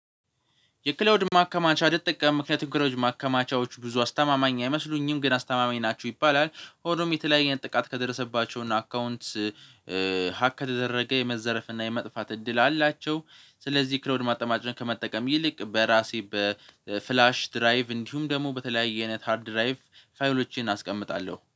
የክላውድ ማከማቻ ትጠቀማለህ? ምክንያቱም ክላውድ ማከማቻዎች ብዙ አስተማማኝ አይመስሉኝም ግን አስተማማኝ ናችው ይባላል ሆኖም የተለያየ አይነት ጥቃት ከደረሰባቸው እና አካውንት ሀክ ከተደረገ የመዘረፍ እና የመጥፋት እድል አላቸው። ስለዚህ ክራዉድ ማከማቻ ከመጠቀም ይልቅ በራሴ በፍላሽ ድራይቭ እንዲሁም ደግሞ በተለያየ አይነት ሃርድ ድራይቭ ፋይሎቼን አስቀምጣለሁ